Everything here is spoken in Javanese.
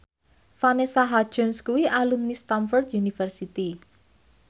Vanessa Hudgens kuwi alumni Stamford University